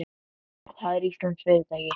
Það er íslenskt fyrirtæki.